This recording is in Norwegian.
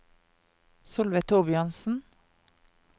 Solveig Thorbjørnsen